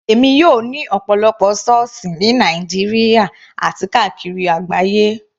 Èmi yóò ní ọ̀pọ̀lọpọ̀ sọ́ọ̀sì ní Nàìjíríà àti káàkiri àgbáyé.